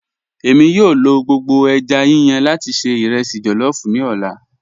Ẹ̀mi yòó lọ gbogbo èjá yíyàn lati ṣẹ̀ irẹsí jollof ni ọlá.